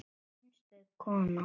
Einstök kona.